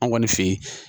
An kɔni fe yen